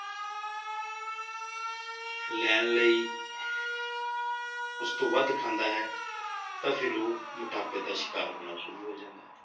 ਲੈਣ ਲਈ ਉਸ ਤੋਂ ਵੱਧ ਖਾਂਦਾ ਹੈ, ਤਾਂ ਫਿਰ ਉਹ ਮੋਟਾਪੇ ਦਾ ਸ਼ਿਕਾਰ ਹੋਣਾ ਸ਼ੁਰੂ ਹੋ ਜਾਂਦਾ ਹੈ।